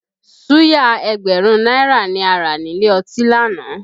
Suya ẹgbẹ̀rún náírà ni a rà nílé ọtí lánàá